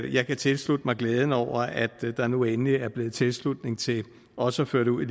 jeg kan tilslutte mig glæden over at der nu endelig er blevet tilslutning til også at føre det ud i